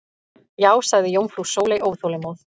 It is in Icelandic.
Já sagði jómfrú Sóley óþolinmóð.